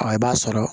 Ɔ i b'a sɔrɔ